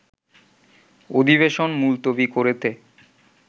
অধিবেশন মুলতবি করেতে